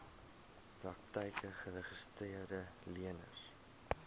praktyke geregistreede leners